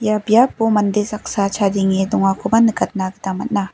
ia baipo mande saksa chadenge dongakoba nikatna gita man·a.